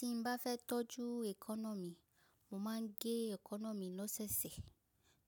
Tí mo bá fẹ́ tọ́jú èkáná mi, mo máa ń gé èkáná mi lọ́sẹ̀sẹ̀